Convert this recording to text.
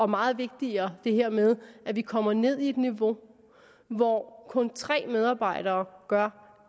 meget vigtigere det her med at vi kommer ned på et niveau hvor kun tre medarbejdere gør